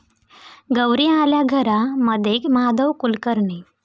गौरी आल्या घरा'मध्ये माधवी कुलकर्णी